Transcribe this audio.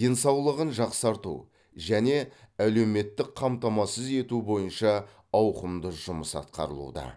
денсаулығын жақсарту және әлеуметтік қамтамасыз ету бойынша ауқымды жұмыс атқарылуда